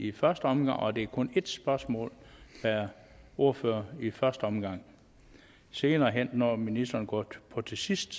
i første omgang og det er kun ét spørgsmål per ordfører i første omgang senere hen når ministeren går på til sidst